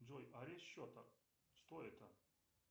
джой арест счета что это